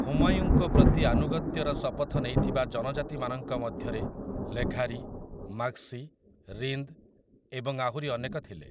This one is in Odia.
ହୁମାୟୁଁଙ୍କ ପ୍ରତି ଆନୁଗତ୍ୟର ଶପଥ ନେଇଥିବା ଜନଜାତିମାନଙ୍କ ମଧ୍ୟରେ ଲେଘାରି, ମାଗ୍‌ସି , ରିନ୍ଦ୍ ଏବଂ ଆହୁରି ଅନେକ ଥିଲେ ।